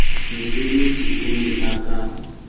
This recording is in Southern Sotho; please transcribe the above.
metsebetsi o ne o ka